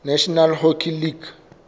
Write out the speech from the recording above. national hockey league